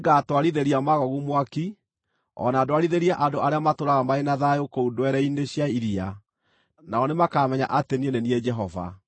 Nĩngatwarithĩria Magogu mwaki, o na ndwarithĩrie andũ arĩa matũũraga marĩ na thayũ kũu ndwere-inĩ cia iria, nao nĩmakamenya atĩ niĩ nĩ niĩ Jehova.